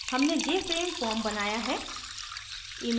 हमने jframe form बनाया है